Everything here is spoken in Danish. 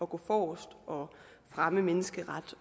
gå forrest og fremme menneskeret